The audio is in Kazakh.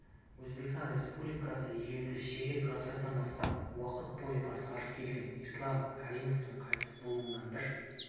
өзбекстан республикасы елді ширек ғасырдан астам уақыт бойы басқарып келген ислам каримовтің қайтыс болуынан бір